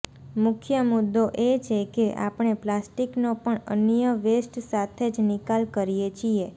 મુખ્ય મુદ્દો એ છે કે આપણે પ્લાસ્ટિકનો પણ અન્ય વેસ્ટ સાથે જ નિકાલ કરીએ છીએ